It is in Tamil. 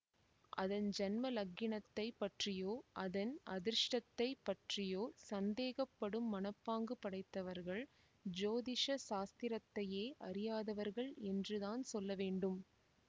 அதன் ஜன்ம லக்கினத்தைப் பற்றியோ அதன் அதிருஷ்டத்தைப் பற்றியோ சந்தேகப்படும் மனப்பாங்கு படைத்தவர்கள் ஜோதிஷ சாஸ்திரத்தையே அறியாதவர்கள் என்றுதான் சொல்ல வேண்டும்